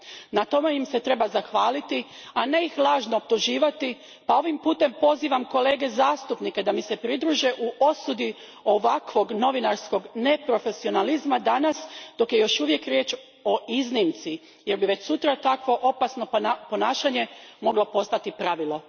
Na tome im treba zahvaliti, a ne ih lažno optuživati, pa ovim putem pozivam kolege zastupnike da mi se pridruže u osudi ovakvog novinarskog neprofesionalizma danas, dok je još uvijek riječ o iznimci, jer bi već sutra takvo opasno ponašanje moglo postati pravilo.